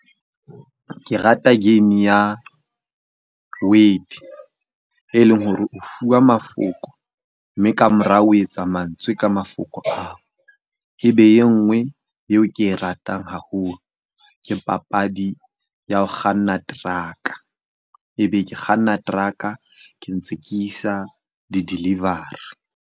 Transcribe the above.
Ke rata game ya word e leng hore o fuwa mafoko mme ka morao o etsa mantswe ka mafoko ao. Ebe e nngwe eo ke e ratang haholo ke papadi ya ho kganna truck-a, ebe ke kganna truck-a ke ntse ke isa di-delivery.